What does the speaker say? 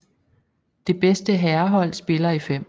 Det bedste herrehold spiller i 5